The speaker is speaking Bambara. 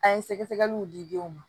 An ye sɛgɛsɛgɛliw di denw ma